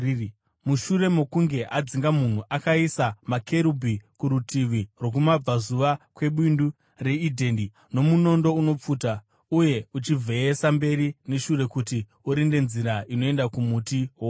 Mushure mokunge adzinga munhu, akaisa makerubhi kurutivi rwokumabvazuva kweBindu reEdheni nomunondo unopfuta uye uchivheyeswa mberi neshure kuti urinde nzira inoenda kumuti woupenyu.